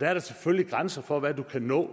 der er selvfølgelig grænser for hvad man kan nå